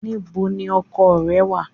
Níbo ni oko rẹ wà?